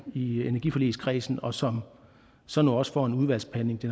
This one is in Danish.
i energiforligskredsen og som så nu også får en udvalgsbehandling det